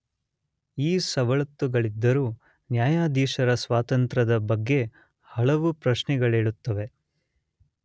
ಈ ಸವಲತ್ತುಗಳಿದ್ದರೂ ನ್ಯಾಯಾಧೀಶರ ಸ್ವಾತಂತ್ರದ ಬಗ್ಗೆ ಹಲವು ಪ್ರಶ್ನೆಗಳೇಳುತ್ತವೆ.